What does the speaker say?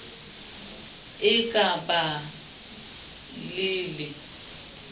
e ka ba le le